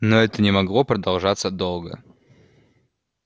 но это не могло продолжаться долго